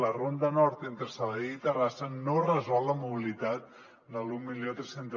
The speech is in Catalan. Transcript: la ronda nord entre sabadell i terrassa no resol la mobilitat de l’mil tres cents